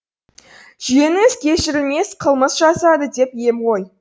жиеніңіз кешірілмес қылмыс жасады деп ем ғой